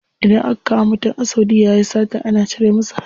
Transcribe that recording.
Idan aka kama mutum a saudiya yayi sata ana cire masa hannu.